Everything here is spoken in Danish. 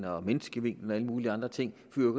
og menneskevinklen og alle mulige andre ting men